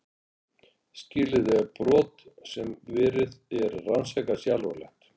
skilyrði er að brot sem verið er að rannsaka sé alvarlegt